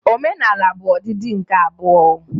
Omenala bụ ọdịdị nke abụọ